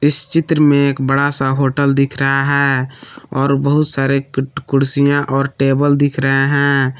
इस चित्र में एक बड़ा सा होटल दिख रहा है और बहुत सारे कुर्सियां और टेबल दिख रहे हैं।